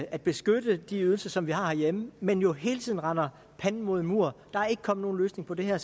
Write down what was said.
at beskytte de ydelser som vi har herhjemme men jo hele tiden render panden mod en mur der er ikke kommet nogen løsning på det her